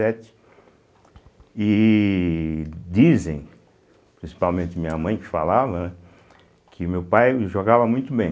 E dizem, principalmente minha mãe que falava, né, que meu pai jogava muito bem